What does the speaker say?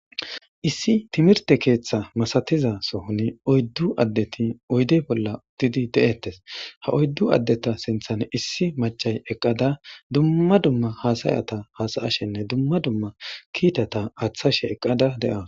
issi timirte keeththa masatiza sohoni oyddu addeti oyde bolla uddidi de'eettes ha oyddu addeta sinthan issi macay eqqada dumma dumma haasayata haasa'ashenne dumma dumma kiitata aaththashe eqqada de'awus